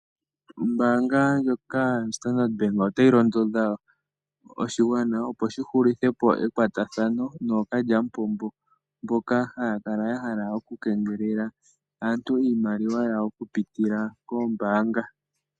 Ombaanga ndjoka yoStandard Bank otayi londodha oshigwana, opo shi hulithe po ekwatathano nookalya mupombo mboka haya kala ya hala oku keengelela aantu iimaliwa yawo oku pitila koombaanga.